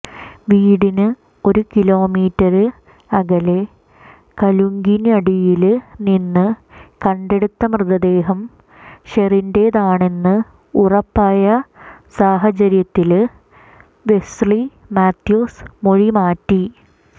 വീടിന് ഒരു കിലോമീറ്റര് അകലെ കലുങ്കിനടയില്നിന്ന് കണ്ടെടുത്ത മൃതദേഹം ഷെറിന്റെതാണെന്ന് ഉറപ്പായ സാഹചര്യത്തില് വെസ്ലി മാത്യൂസ് മൊഴി മാറ്റി